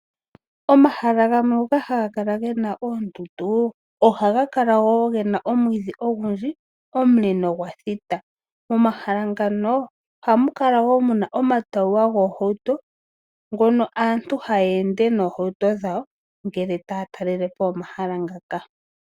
Omahala gamwe ngoka haga kala gena oondundu, ohaga kala wo gena omwiidhi ogundji, omule nogwathita. Momahala ngano ohamukala wo muna omatawuwa goohauto ngono aantu haye ende nohauto dhawo ngele taa talelepo omahala ngaka.